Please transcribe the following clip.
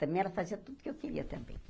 Também ela fazia tudo que eu queria também.